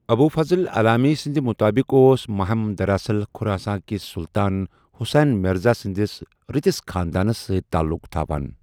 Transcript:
ابو فضل علامی سندِ مطٲبِق اوس محم دراصل خراساں کِس سلطان حسین مرزا سٕندِس رٕتِس خاندانس سۭتۍ تعلق تھوان ۔